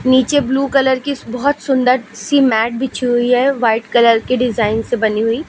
नीचे blue colour की बहुत सुंदर सी मैट बिछी हुई है। व्हाइट कलर की डिजाइन से बनी हुई।